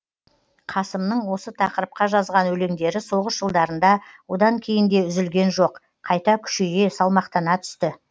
қасымның осы тақырыпқа жазған өлеңдері соғыс жылдарында одан кейін де үзілген жоқ қайта күшейе салмақтана түсті